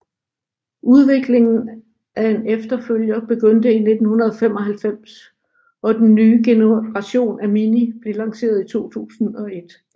Udviklingen af en efterfølger begyndte i 1995 og den nye generation af Mini blev lanceret i 2001